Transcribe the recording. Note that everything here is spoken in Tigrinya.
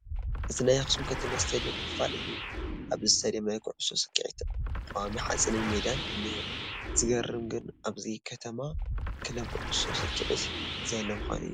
እዚ ናይ ኣኽሱም ከተማ ስቴድየም ክፋል እዩ፡፡ ኣብዚ ስቴድየም ናይ ኩዕሶ ሰክዔት ቀዋሚ ሓፂንን ሜዳን እኒሀ፡፡ ዝገርም ግን ኣብዚ ከተማ ክለብ ኩዕሶ ሰክዔት ዘየለ ምዃኑ እዩ፡፡